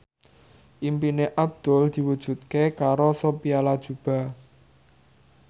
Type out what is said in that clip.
impine Abdul diwujudke karo Sophia Latjuba